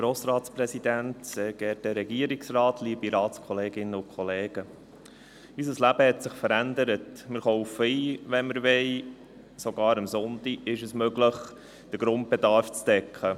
Wir kaufen ein, wann wir wollen, und sogar am Sonntag ist es möglich, den Grundbedarf zu decken.